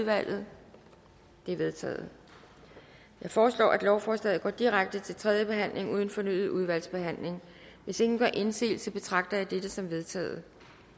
udvalget de er vedtaget jeg foreslår at lovforslaget går direkte til tredje behandling uden fornyet udvalgsbehandling hvis ingen gør indsigelse betragter jeg dette som vedtaget